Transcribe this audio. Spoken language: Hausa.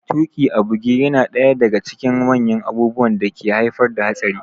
Tuƙi a buge yana daya daga cikin manyan abubuwan da ke haifar da hatsari